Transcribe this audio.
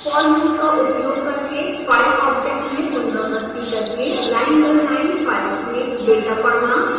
for loop का उपयोग करके file object में पुनरावृति करके लाइन दर लाइन फाइल्स में डेटा पढ़ना